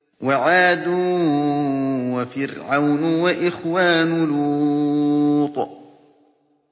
وَعَادٌ وَفِرْعَوْنُ وَإِخْوَانُ لُوطٍ